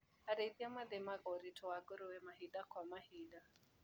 Arĩithia mathimaga ũritũ wa ngũrũwe mahinda kwa mahinda.